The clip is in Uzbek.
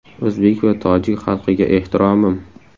O‘zbek va tojik xalqiga ehtiromim!